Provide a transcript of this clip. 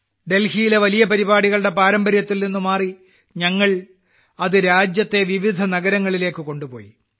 ഡൽഹിയിലെ വലിയ പരിപാടികളുടെ പാരമ്പര്യത്തിൽനിന്ന് മാറി ഞങ്ങൾ അത് രാജ്യത്തെ വിവിധ നഗരങ്ങളിലേക്ക് കൊണ്ടുപോയി